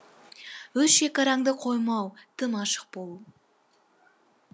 өз шекараңды қоймау тым ашық болу